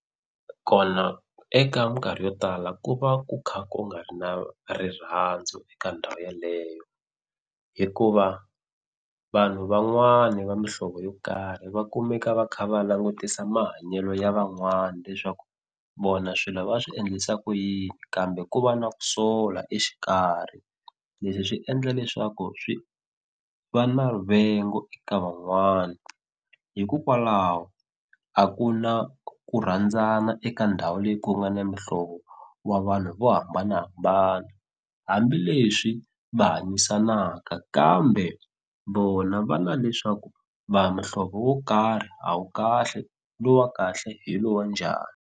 Kona eka minkarhi yo tala ku va ku kha ku nga ri na rirhandzu eka ndhawu yeleyo hikuva vanhu van'wani va muhlovo yo karhi va kumeka va kha va langutisa mahanyelo ya van'wani leswaku vona swilo va swi endlisa ku yini kambe ku va na ku sola exikarhi leswi swi endla leswaku swi va na rivengo eka van'wani hikokwalaho a ku na ku rhandzana eka ndhawu leyi ku nga na muhlovo wa vanhu vo hambanahambana hambileswi va hanyisanaka kambe vona va na leswaku va muhlovo wo karhi a wu kahle lowu wa kahle hi lowa njhani.